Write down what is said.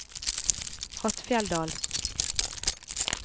Hattfjelldal